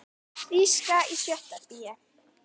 Þýska í sjötta bé.